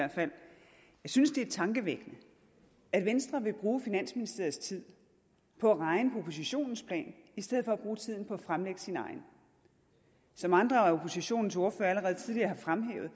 jeg synes det er tankevækkende at venstre vil bruge finansministeriets tid på at regne på oppositionens plan i stedet for at bruge tiden på at fremlægge sin egen som andre af oppositionens ordførere allerede tidligere har fremhævet